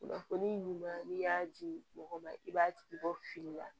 Kunnafoni ɲuman n'i y'a di mɔgɔ ma i b'a tigi bɔ fili la